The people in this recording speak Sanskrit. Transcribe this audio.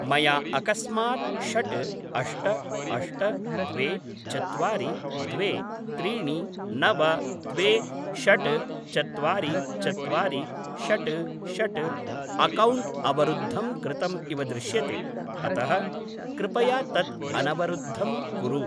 मया अकस्मात् षड् अष्ट अष्ट द्वे चत्वारि द्वे त्रीणि नव द्वे षड् चत्वारि चत्वारि षड् षड् अक्कौण्ट् अवरुद्धं कृतम् इव दृश्यते अतः कृपया तत् अनवरुद्धं कुरु।